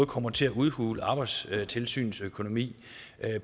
kommer til at udhule arbejdstilsynets økonomi